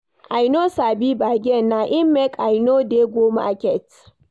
I no sabi bargain, na im make I no dey go market.